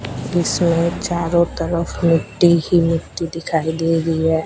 इसमें चारों तरफ मिट्टी ही मिट्टी दिखाई दे रही है।